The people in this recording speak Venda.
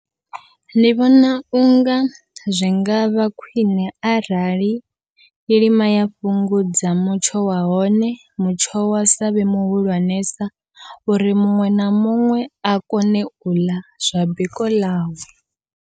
Ndi vhona unga zwi ngavha khwiṋe arali kilima ya fhungudza mutsho wa hone, mutsho wa savhe muhulwanesa uri muṅwe na muṅwe a kone uḽa zwa biko ḽawe.